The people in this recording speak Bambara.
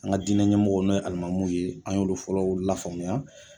An ka diinɛ ɲɛmɔgɔw n'o ye alimamuw ye an y'olu fɔlɔw lafaamuya.